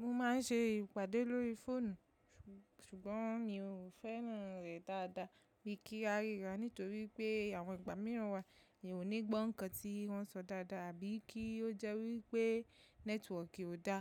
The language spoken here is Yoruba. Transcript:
Mo máa ń ṣe ìpàdé lórí fóònù, ṣùgbọ́n mi ò fẹ́ràn rẹ̀ dáadáa bí kí a ríra nítorí pé àwọn ìgbà mìíràn wa mi ò ní gbọ́ nǹkan tí wọ́n sọ dáadáa àbí kí ó jẹ́ wí pé nẹ́tíwọọ̀kì ò dá